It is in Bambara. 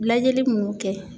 Lajɛli munnu kɛ.